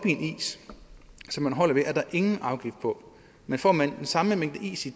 som man holder ved er der ingen afgift på men får man den samme mængde is i